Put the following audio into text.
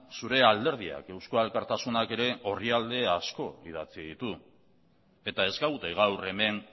zure alderdiak eusko alkartasunak ere orrialde asko idatzi ditu eta ez gaude gaur hemen